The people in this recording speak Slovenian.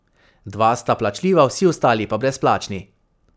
Dva sta plačljiva, vsi ostali pa brezplačni.